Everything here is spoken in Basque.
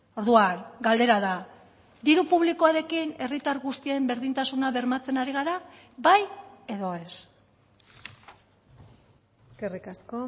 orduan galdera da diru publikoarekin herritar guztien berdintasuna bermatzen ari gara bai edo ez eskerrik asko